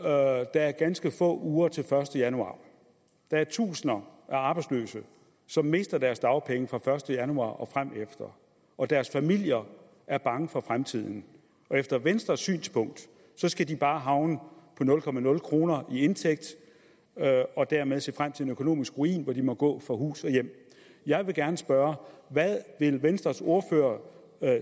og der er ganske få uger til den første januar der er tusinder af arbejdsløse som mister deres dagpenge fra den første januar og fremefter og deres familier er bange for fremtiden og efter venstres synspunkt skal de bare havne på nul kroner i indtægt og dermed se frem til en økonomisk ruin hvor de må gå fra hus og hjem jeg vil gerne spørge hvad vil venstres ordfører